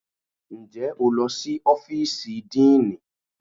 Ǹjẹ́ o lọ sí ọ́fíìsì díìnì?